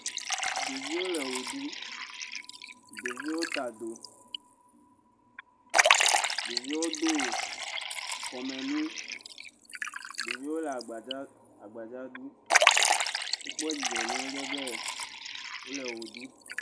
ɖoviwo le ɣeɖum ɖoviwo ta do ɖoviwo dó kɔmɛnu ɖoviwo le agbadza agbadza ɖu wokpɔ dzidzɔ nyuiɖe be wóle ɣe ɖu